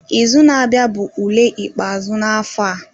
Izu na-abịa bụ ule ikpeazụ na-afọ a